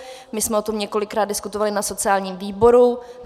My jsme o tom několikrát diskutovali na sociálním výboru.